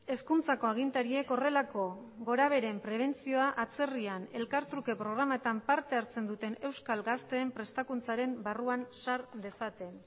hezkuntzako agintariek horrelako gora beheren prebentzioa atzerrian elkartruke programetan parte hartzen duten euskal gazteen prestakuntzaren barruan sar dezaten